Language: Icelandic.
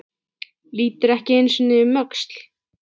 Lítur ekki einu sinni um öxl.